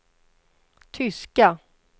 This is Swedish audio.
tyska